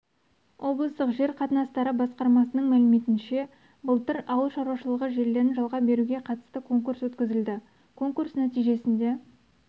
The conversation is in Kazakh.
облыстық жер қатынастары басқармасының мәліметінше былтыр ауыл шаруашылығы жерлерін жалға беруге қатысты конкурс өткізілді конкурс нәтижесінде